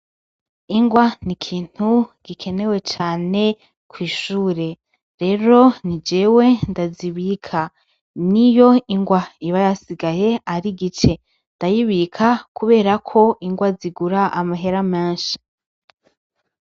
Ingwa n'ikintu gikenewe cane kw'ishure. Rero ni jewe ndazibika ,n'iyo ingwa iba yasigaye ari igice ndayibika kubera ko ingwa zigura amahera menshi.